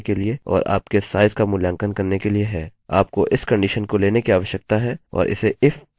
आपको इस कंडिशन को लेने की आवश्यकता है और इसे if अन्य स्टेटमेंट में रखें